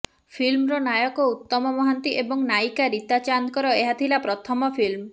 ଫିଲ୍ମର ନାୟକ ଉତ୍ତମ ମହାନ୍ତି ଏବଂ ନାୟିକା ରୀତା ଚାନ୍ଦଙ୍କର ଏହା ଥିଲା ପ୍ରଥମ ଫିଲ୍ମ